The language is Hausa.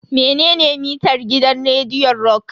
Menene mitar gidan rediyon rock?